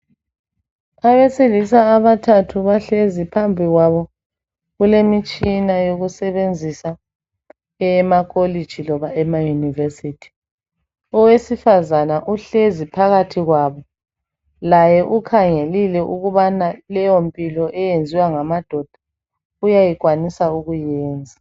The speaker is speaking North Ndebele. Abesilisa abathathu bahlezi phambikwabo kulemitshina yokusebenzisa eyemakolitshi loba emayunivesithi. Owesifazana uhlezi phakathi kwabo laye ukhangelile ukubana leyo mpilo eyenziwa ngamadoda uyayikwanisa ukuyenza.